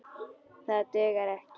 Það dugar ekki.